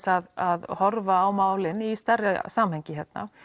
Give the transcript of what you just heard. að horfa á málin í stærra samhengi